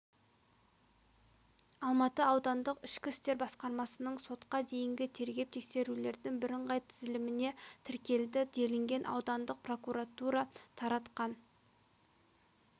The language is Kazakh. алматы аудандық ішкі істер басқармасының сотқа дейінгі тергеп-тексерулердің бірыңғай тізіліміне тіркелді делінген аудандық прокуратура таратқан